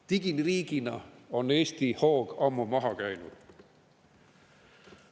Digiriigina on Eesti hoog ammu maha käinud.